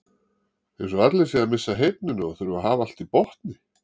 Eins og allir séu að missa heyrnina og þurfi að hafa allt í botni.